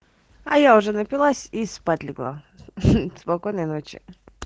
а я уже напилась и спать легла спокойной ночи